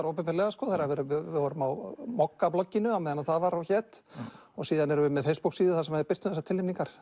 opinberlega við vorum á á meðan það var og hét og síðan erum við með þar sem við birtum þessar tilnefningar